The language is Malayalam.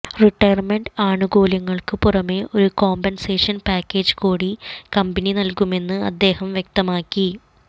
റിട്ടയർമെന്റ് ആനുകൂല്യങ്ങൾക്ക് പുറമെ ഒരു കോമ്പൻസേഷൻ പാക്കേജ് കൂടി കമ്പനി നൽകുമെന്ന് അദ്ദേഹം വ്യക്തമാക്കി